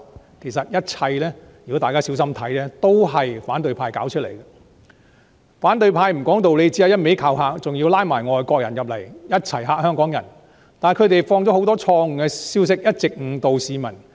反對派不講道理，只是一直用威嚇的方式危言聳聽，還要拉攏外國人來嚇煞香港人，但他們傳播了很多錯誤的消息，一直誤導市民。